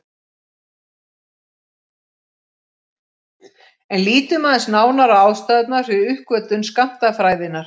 En lítum aðeins nánar á ástæðurnar fyrir uppgötvun skammtafræðinnar.